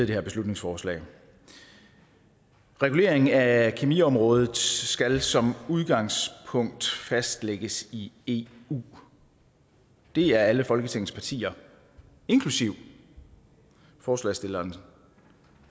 det her beslutningsforslag regulering af kemiområdet skal som udgangspunkt fastlægges i i eu det er alle folketingets partier inklusive forslagsstillerens